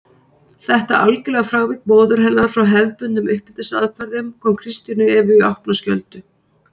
Þetta algjöra frávik móður hennar frá hefðbundnum uppeldisaðferðum kom Kristínu Evu í opna skjöldu.